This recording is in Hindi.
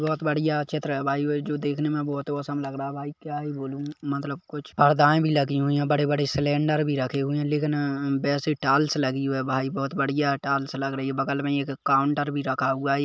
बहुत बढ़िया चित्र है भाई जो देखने में बहुत ही ओसम लग रहा है भाई क्या ही बोलू मतलब कुछ पर्दाएं भी लगी हुए है बड़े-बड़े सिलेंडर भी रखे हुए है लेकिन बेसि टाइल्स लगी हुई है भाई बहुत बढ़िया टाइल्स लग रही है बगल में एक काउंटर भी रखा हुआ हैं।